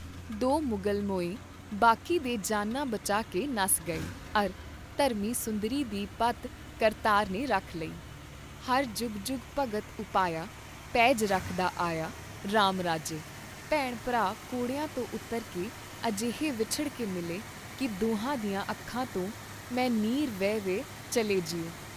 ਦੋ ਮੁਗਲ ਮੋਏ ਬਾਕੀ ਦੇ ਜਾਨਾਂ ਬਚਾ ਕੇ ਨੱਸ ਗਏ ਅਰ ਧਰਮੀ ਸੁੰਦਰੀ ਦੀ ਪਤ ਕਰਤਾਰ ਨੇ ਰੱਖ ਲਈ, "ਹਰਿ ਜੁਗੁ ਜੁਗੁ ਭਗਤ ਉਪਾਇਆ ਪੈਜ ਰਖਦਾ ਆਇਆ ਰਾਮ ਰਾਜੇ" ਭੈਣ ਭਰਾ ਘੋੜਿਆਂ ਤੋਂ ਉਤਰ ਕੇ ਅਜਿਹੇ ਵਿੱਛੁੜ ਕੇ ਮਿਲੇ ਕੀ ਦੁਹਾਂ ਦੀਆਂ ਅੱਖਾਂ ਤੋਂ' ਮੈਂ ਨੀਰ ਵਹੇ ਵਹਿ ਚੱਲੈ ਜੀਉ!